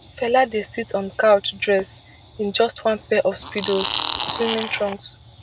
fela dey sit on a couch dress in just one pair of speedos [swimming trunks]